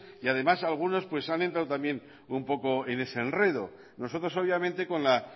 y además algunos han entrado también en ese enredo nosotros obviamente con la